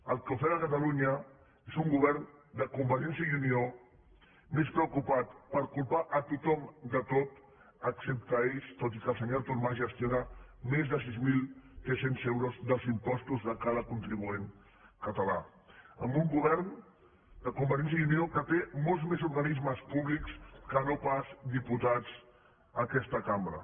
el que ofega catalunya és un govern de convergència i unió més preocupat per culpar a tothom de tot excepte a ells tot i que el senyor artur mas gestiona més de sis mil tres cents euros dels impostos de cada contribuent català amb un govern de convergència i unió que té molts més organismes públics que no pas diputats aquesta cambra